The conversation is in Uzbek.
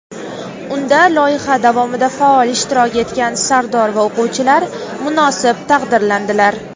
unda loyiha davomida faol ishtirok etgan sardor va o‘quvchilar munosib taqdirlandilar.